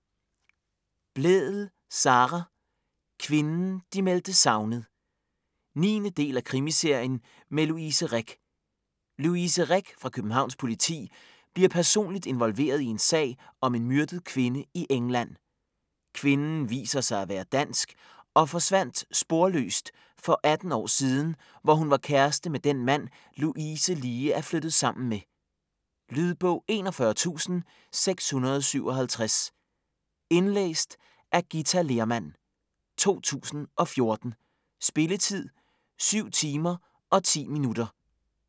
Blædel, Sara: Kvinden de meldte savnet 9. del af krimiserien med Louise Rick. Louise Rick fra Københavns Politi bliver personligt involveret i en sag om en myrdet kvinde i England. Kvinden viser sig at være dansk og forsvandt sporløst for 18 år siden, hvor hun var kæreste med den mand, Louise lige er flyttet sammen med. Lydbog 41657 Indlæst af Githa Lehrmann, 2014. Spilletid: 7 timer, 10 minutter.